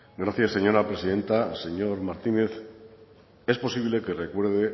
gracias señora presidenta señor martínez es posible que recuerde